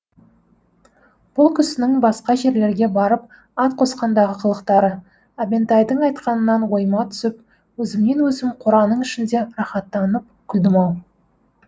бұл кісінің басқа жерлерге барып ат қосқандағы қылықтары әбентайдың айтқанынан ойыма түсіп өзімнен өзім қораның ішінде рахаттанып күлдім ау